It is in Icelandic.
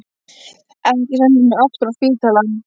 Ekki senda mig aftur á spítalann.